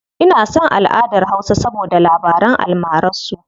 Ina son alʼadar hausa saboda labaran almarar su.